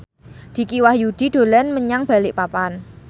Dicky Wahyudi dolan menyang Balikpapan